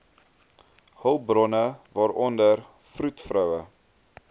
hulpbronne waaronder vroedvroue